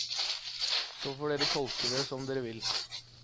Så får dere tolke det som dere vil.